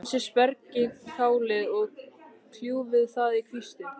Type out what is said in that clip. Hreinsið spergilkálið og kljúfið það í kvisti.